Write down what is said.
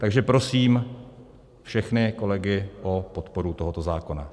Takže prosím všechny kolegy o podporu tohoto zákona.